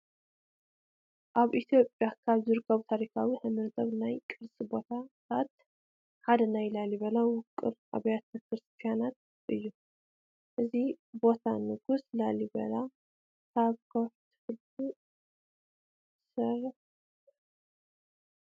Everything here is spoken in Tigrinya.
ኣብ ኢ/ያ ካብ ዝርከቡ ታሪካውን ሃይማኖታውን ናይ ቅርሲ ቦታታት ሓደ ናይ ላሊበላ ውቅር ኣብያተ ክርስትያናት እዩ፡፡ እዚ ቦታ ብንጉስ ላሊበላ ካብ ከውሒ ተፈልፊሉ ዝተሰርሐ እዩ፡፡